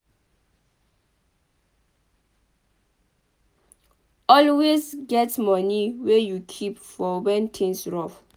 Always get moni wey you keep for when things rough